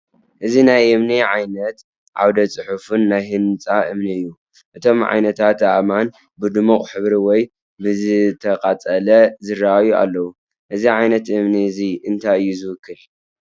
እዚ ናይ እምኒ ዓይነት ዓውደ-ጽሑፍን ናይ ህንጻ እምኒ እዩ። እቶም ዓይነታት ኣእማን ብድሙቕ ሕብሪ ወይ ብዝተቃፀለ ዝረኣዩ ኣለው፡ እዚ ዓይነት እምኒ እዚ እንታይ እዩ ዝውክል?